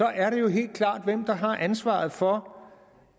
er det jo helt klart hvem der har ansvaret for